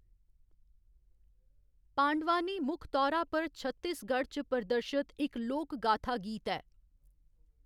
पांडवानी मुक्ख तौरा पर छत्तीसगढ़ च प्रदर्शत इक लोक गाथा गीत ऐ।